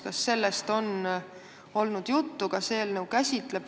Kas sellest on juttu olnud?